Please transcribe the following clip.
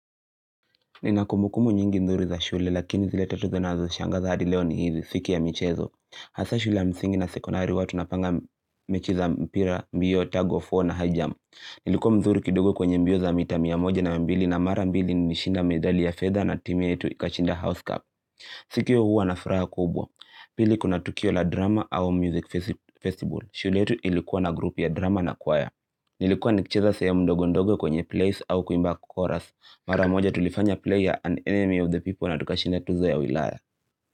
Nina kumbukumbu nyingi nzuri za shule lakini zile tatu zinazonishangaza hadi leo ni hizi siku ya michezo Hasa shule ya msingi na sekonari huwa tunapanga mechi za mpira, mbio, tag of war na high jump Nilikuwa mzuri kidogo kwenye mbio za mita mia moja na mbili na mara mbili ni nimeshinda medali ya fedha na timu yetu ikashinda house cup siku hiyo huwa na furaha kubwa Pili kuna tukio la drama au music festival shule yetu ilikuwa na grupi ya drama na choir Nilikuwa nikicheza sehemu ndogo ndogo kwenye plays au kuimba chorus mara moja tulifanya play ya an enemy of the people na tukashinda tuzo ya wilaya.